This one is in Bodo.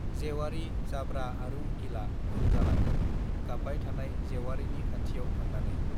जेउवारि जाब्रा आरो उकिला उन जालाङो गाब्बाय थानाय जेउवारिनि खाथियाव थांनानै